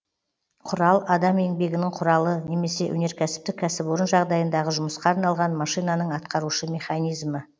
құрал адам еңбегінің құралы немесе өнеркәсіптік кәсіпорын жағдайындағы жұмысқа арналған машинаның атқарушы механизмі